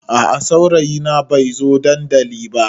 A a saurayina bai zai zo dandali ba.